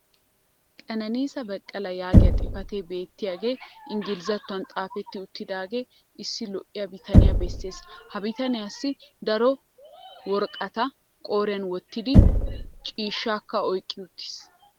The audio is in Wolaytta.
"kenenisa bekele" yaagiya xifatee beettiyaagee ingglizattuwan xaafetti uttidaagee issi lo'iya bitaniya bessees. ha bitaniyassi daro worqqata qooriyan wottidi ciishshaakka oykki uttiis.